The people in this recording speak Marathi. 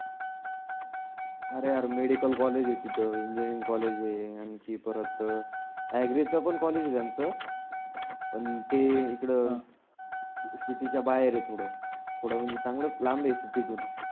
आरे यार मेडिकल कॉलेज आहे तीथं, इंजिनीरिंग कॉलेज आहे आनखी परतऍग्रीचं पण कॉलेज आहे त्यांचं पण ते इकड सिटीच्या बाहेर आहे थोडं. थोड चांगलच लांब आहे सिटीतुन.